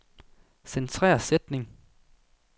Centrer sætning.